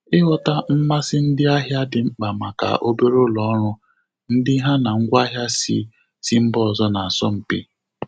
Ịghọta mmasị ndị ahịa dị mkpa maka obere ụlọ ọrụ, ndị ha na ngwa ahịa sị sị mba ọzọ na-asọ mpị.